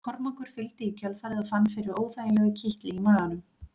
Kormákur fylgdi í kjölfarið og fann fyrir óþægilegu kitli í maganum.